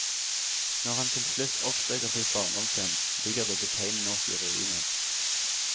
Når han til slutt oppsøker sitt barndomshjem, ligger det betegnende nok i ruiner.